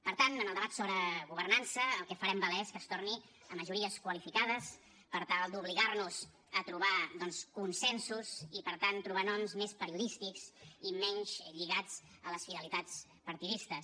per tant en el debat sobre governança el que farem valer és que es torni a majories qualificades per tal d’obligar nos a trobar doncs consensos i per tant trobar noms més periodístics i menys lligats a les fidelitats partidistes